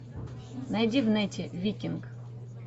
найди в нете викинг